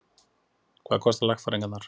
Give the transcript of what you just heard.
Hvað kosta lagfæringarnar?